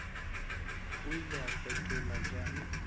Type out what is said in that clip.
o ile a fetola bjang